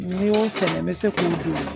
Ni n y'o sɛgɛn n bɛ se k'o don